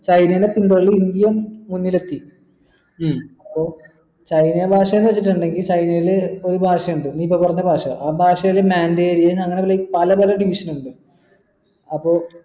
കഴിഞ്ഞ ഇന്ത്യ മുന്നിലെത്തി ഉം അപ്പൊ ചൈന ഭാഷാന്ന് വെച്ചിട്ടുണ്ടെങ്കിൽ ചൈനയിൽ ഒരു ഭാഷയുണ്ട് നീ ഇപ്പൊ പറഞ്ഞ ഭാഷ ആ ഭാഷയിൽ മാൻഡറിയന് അങ്ങനെ like പല പല division ഇണ്ട് അപ്പൊ